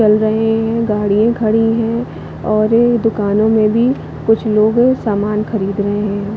चल रही है गाडियाँ खड़ी है और ये दुकानो में भी कुछ लोगो सामान खरीद रहे है।